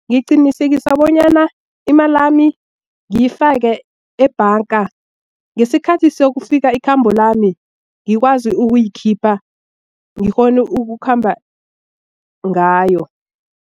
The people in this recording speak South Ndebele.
Ngiqinisekisa bonyana imalami ngiyifake ebhanga ngesikhathi sokufika ikhambo lami ngikwazi ukuyikhipha ngikghone ukukhamba ngayo.